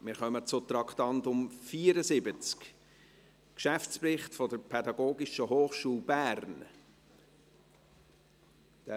Wir kommen zum Traktandum 74, Geschäftsbericht der Pädagogischen Hochschule Bern (PH Bern).